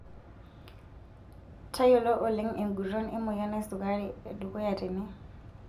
Tayiolo oleng enguton emoyian esukari edukuya tene.